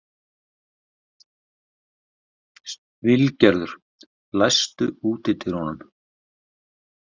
Vilgerður, læstu útidyrunum.